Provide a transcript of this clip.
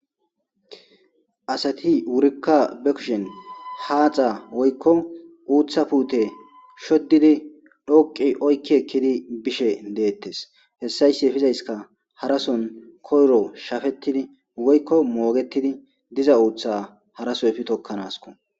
asati wurikka be kushin haaxa woykko uuththa puute shoddidi dhoqi oykki ekkidi bishe deettes hessayssi efizayska harason koyro shafettidi woykko moogetidi diza uutha haraso efi tokkanasko